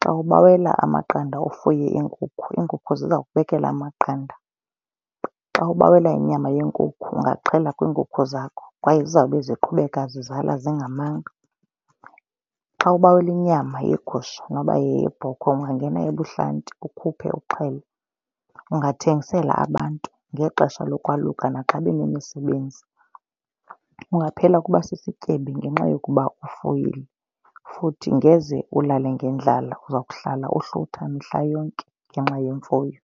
Xa ubawela amaqanda ufuye iinkukhu, iinkukhu ziza kubekela amaqanda. Xa ubawela inyama yenkukhu ungaxhela kwiinkukhu zakho kwaye zizawube ziqhubeka zizala zingamanga. Xa ubawela inyama yegusha noba yeyebhokhwe ungangena ebuhlanti ukhuphe, uxhele. Ungathengisela abantu ngexesha lokwaluka naxa benemisebenzi. Ungaphela uba sisityebi ngenxa yokuba ufuyile futhi ngeze ulale ngendlala uza kuhlala uhlutha mihla yonke ngenxa yemfuyo.